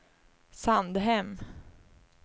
Sandhem